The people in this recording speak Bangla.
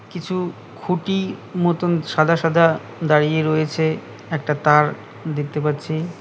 কিছু খুটি মতন সাদা সাদা দাড়িয়ে রয়েছে একটা তার দেখতে পাচ্ছি।